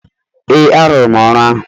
Ee, arụrụ m ọrụ ahụ.